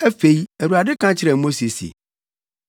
Afei Awurade ka kyerɛɛ Mose se,